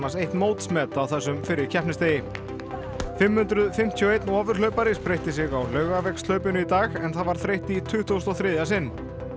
eitt mótsmet á þessum fyrri keppnisdegi fimm hundruð fimmtíu og eitt ofurhlaupari spreytti sig á Laugavegshlaupinu í dag en það var þreytt í tuttugasta og þriðja sinn